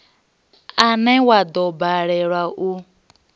une wa do balelwa u